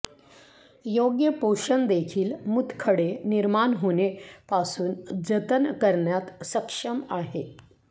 योग्य पोषण देखील मूतखडे निर्माण होणे पासून जतन करण्यात सक्षम आहे